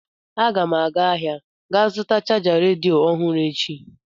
Aga m aga ahịa ga zụta chaja redio ọhụrụ echi.